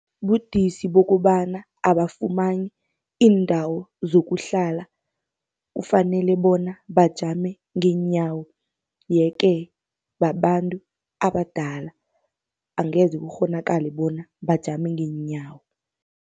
Budisi bokobana abafumani iindawo zokuhlala, kufanele bona bajame ngeenyawo. Ye-ke babantu abadala angeze kukghonakale bona bajame ngeenyawo.